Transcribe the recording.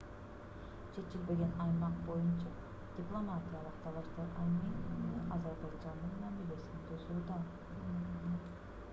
чечилбеген аймак боюнча дипломатиялык талаштар армения менен азербайжандын мамилесин бузууда